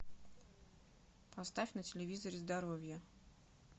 поставь на телевизоре здоровье